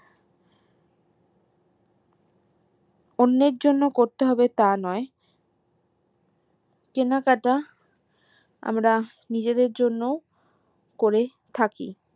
অন্যের জন্য করতে হবে তা নয় কেনাকাটা আমরা নিজেদের জন্য করে থাকি